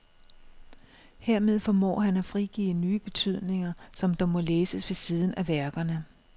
Hermed formår han at frigive nye betydninger, som dog må læses ved siden af værkerne.